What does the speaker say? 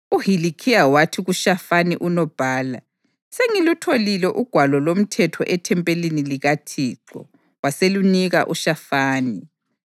UHilikhiya wathi kuShafani unobhala, “Sengilutholile uGwalo loMthetho ethempelini likaThixo.” Waselunika uShafani.